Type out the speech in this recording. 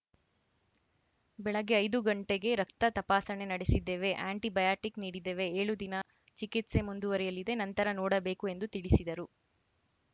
ಬೆಳಗ್ಗೆ ಐದು ಗಂಟೆಗೆ ರಕ್ತ ತಪಾಸಣೆ ನಡೆಸಿದ್ದೇವೆ ಆ್ಯಂಟಿ ಬಯಾಟಿಕ್‌ ನೀಡಿದ್ದೇವೆ ಏಳು ದಿನ ಚಿಕಿತ್ಸೆ ಮುಂದುವರಿಯಲಿದೆ ನಂತರ ನೋಡಬೇಕು ಎಂದು ತಿಳಿಸಿದರು